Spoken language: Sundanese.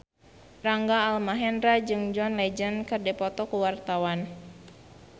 Rangga Almahendra jeung John Legend keur dipoto ku wartawan